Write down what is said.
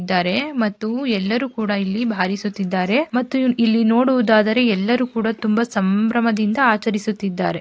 ಇದ್ದಾರೆ ಮತ್ತು ಎಲ್ಲರೂ ಕೂಡ ಇಲ್ಲಿ ಬಾರಿಸುತ್ತಿದ್ದಾರೆ ಮತ್ತು ಇಲ್ಲಿ ನೋಡುವುದಾದರೆ ಎಲ್ಲರೂ ಕೂಡ ತುಂಬಾ ಸಂಭ್ರಮದಿಂದ ಆಚರಿಸುತ್ತಿದ್ದಾರೆ.